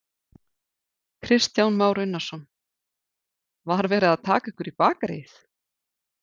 Kristján Már Unnarsson: Var verið að taka ykkur í bakaríið?